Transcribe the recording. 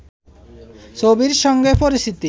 ছবির সঙ্গে পরিচিত